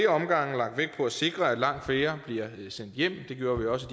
omgange lagt vægt på at sikre at langt flere bliver sendt hjem det gjorde vi også